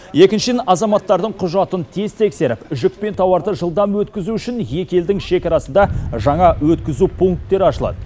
екіншіден азаматтардың құжатын тез тексеріп жүк пен тауарды жылдам өткізу үшін екі елдің шекарасында жаңа өткізу пункттері ашылады